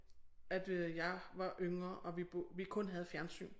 At øh jeg var yngre og vi bo vi kun havde fjernsyn